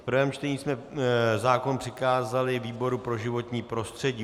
V prvém čtení jsme zákon přikázali výboru pro životní prostředí.